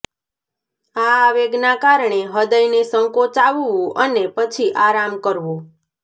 આ આવેગના કારણે હૃદયને સંકોચાવવું અને પછી આરામ કરવો